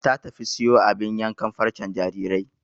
Ta tafi siyo abin yankan farcen jarirai